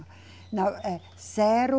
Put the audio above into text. Não, é zero